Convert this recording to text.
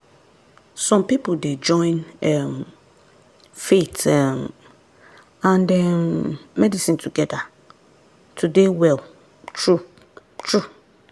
some people dey join um faith um and um medicine together to dey well true-true.